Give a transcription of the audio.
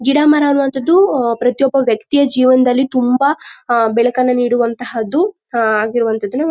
ಗಿಡ ಮರ ಅನ್ನೋವಂಥದ್ದು ಪ್ರತಿಯೊಬ್ಬ ವ್ಯಕ್ತಿಯ ಜೀವನದಲ್ಲಿ ತುಂಬಾ ಬೆಳಕನ್ನು ನೀಡುವಂಥದ್ದು ಆಗಿರುವಂಥದ್ದು